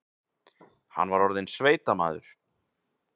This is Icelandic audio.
Hann var orðinn sveitamaður.